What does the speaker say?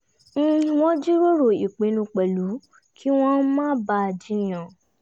wọ́n jíròrò ìpinnu pẹ̀lú kí wọn má bà á jiyàn